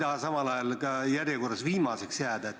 Aga ma ise ei taha ka järjekorras viimaseks jääda.